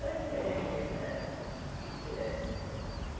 Era diferente mesmo era eh.